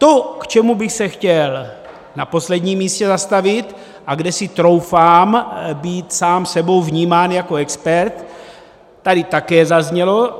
To, k čemu bych se chtěl na posledním místě zastavit a kde si troufám být sám sebou vnímán jako expert, tady také zaznělo.